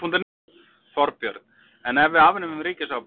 Þorbjörn: En ef við afnemum ríkisábyrgðina?